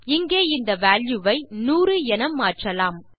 இங்கே இந்த வால்யூ வை 100 என மாற்றலாம்